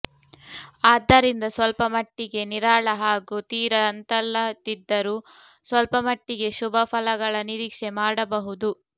ಆದ್ದರಿಂದ ಸ್ವಲ್ಪ ಮಟ್ಟಿಗೆ ನಿರಾಳ ಹಾಗೂ ತೀರಾ ಅಂತಲ್ಲದಿದ್ದರೂ ಸ್ವಲ್ಪ ಮಟ್ಟಿಗೆ ಶುಭ ಫಲಗಳ ನಿರೀಕ್ಷೆ ಮಾಡಬಹುದು